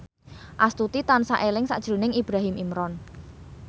Astuti tansah eling sakjroning Ibrahim Imran